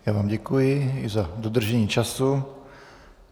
Já vám děkuji i za dodržení času.